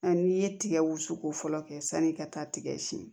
An'i ye tigɛ wusuko fɔlɔ kɛ sani i ka taa tigɛ siyɛn